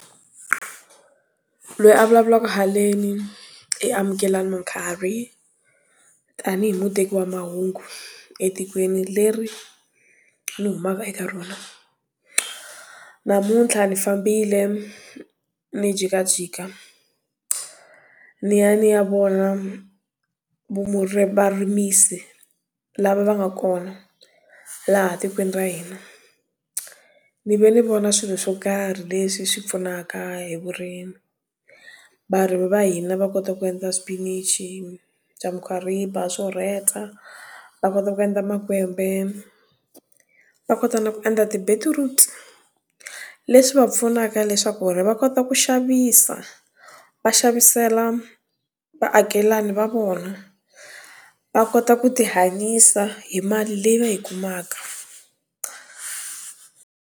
Loyi a vulavulaka haleni i Amukela Mukhari. Tanihi muteki wa mahungu, etikweni leri ni humaka eka rona. Namuntlha ni fambile, ni jikajika, ni ya ni ya vona varimisi, lava va nga kona, laha tikweni ra hina. Ni ve ni vona swilo swo karhi leswi swi pfunaka hi vurimi. Va ri va hina va kota ku endla swipinichi swa mukhwariba, swo rheta, va kota ku endla makwembe. Va kota na ku endla ti betiruti. Leswi va pfunaka leswaku ri va kota ku xavisa, va xavisela vaakelani va vona. Va kota ku ti hanyisa hi mali leyi va yi kumaka.